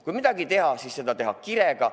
" Kui midagi teha, siis teha seda kirega.